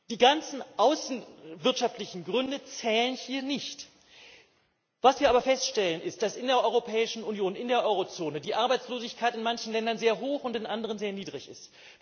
Die ganzen außenwirtschaftlichen Gründe zählen hier nicht. Was wir aber feststellen, ist, dass in der Europäischen Union, in der Eurozone, die Arbeitslosigkeit in manchen Ländern sehr hoch und in anderen sehr niedrig ist.